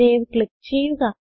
save click ചെയ്യുക